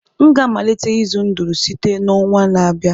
m ga-amalite ịzụ ndụrụ site n'ọnwa na-abịa